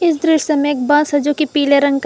इस दृश्य में एक बस है जो कि पीले रंग का--